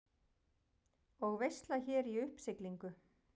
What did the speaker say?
Og veisla hér í uppsiglingu.